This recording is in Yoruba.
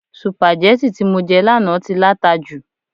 sùpàgẹ́tì tí mo jẹ lánàá tí láta jù